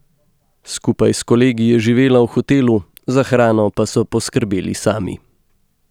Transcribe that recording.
Skupaj s kolegi je živela v hotelu, za hrano pa so poskrbeli sami.